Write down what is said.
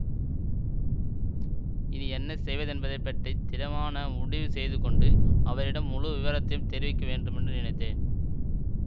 இனி என்ன செய்வதென்பதைப்பற்றித் திடமான முடிவு செய்து கொண்டு அவரிடம் முழு விவரத்தையும் தெரிவிக்க வேண்டுமென்று நினைத்தேன்